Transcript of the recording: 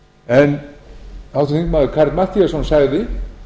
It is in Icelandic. en háttvirtur þingmaður karl matthíasson sagði